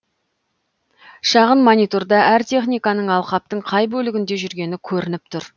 шағын мониторда әр техниканың алқаптың қай бөлігінде жүргені көрініп тұр